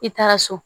I taara so